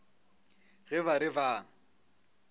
ge ba re ba a